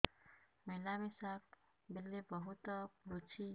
ମିଳାମିଶା ବେଳେ ବହୁତ ପୁଡୁଚି